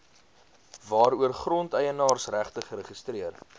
waaroor grondeienaarsregte geregistreer